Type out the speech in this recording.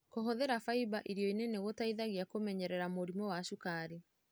Kũhũthĩra faimba irioinĩ nĩgũteithagia kũmenyerera mũrimũ wa cukari.